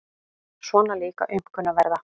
Svona líka aumkunarverða.